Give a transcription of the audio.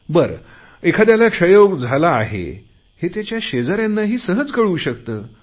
बरं एखाद्याला क्षयरोग झाला आहे हे त्याच्या शेजाऱ्यांनाही सहज कळू शकते